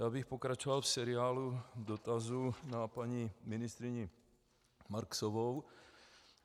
Já bych pokračoval v seriálu dotazů na paní ministryni Marksovou.